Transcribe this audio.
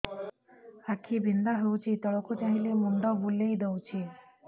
ଆଖି ବିନ୍ଧା ହଉଚି ତଳକୁ ଚାହିଁଲେ ମୁଣ୍ଡ ବୁଲେଇ ଦଉଛି